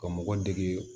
Ka mɔgɔ dege